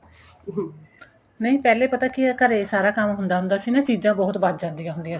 ਨਹੀਂ ਪਹਿਲੇ ਪਤਾ ਕਿ ਇਹ ਘਰੇ ਸਾਰਾ ਕੰਮ ਹੁੰਦਾ ਹੁੰਦਾ ਸੀ ਚੀਜਾਂ ਬਹੁਤ ਬੱਚ ਜਾਦੀਆਂ ਹੁੰਦੀਆਂ ਸੀ